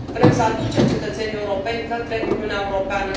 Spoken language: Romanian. Vrem să aducem cetățenii europeni către Uniunea Europeană.